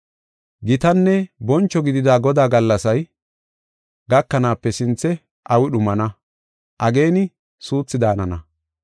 Gitanne boncho gidida Godaa gallasay gakanaape sinthe awi dhumana; ageeni suuthi daanana.